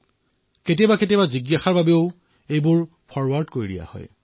কেতিয়াবা কেতিয়াবা জিজ্ঞাসাবশতঃ ফৰোৱাৰ্ড কৰি দিয়ে